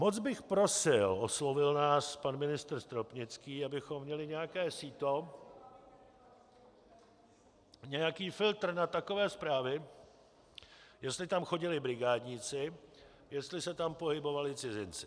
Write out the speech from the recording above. Moc bych prosil, oslovil nás pan ministr Stropnický, abychom měli nějaké síto, nějaký filtr na takové zprávy, jestli tam chodili brigádnici, jestli se tam pohybovali cizinci.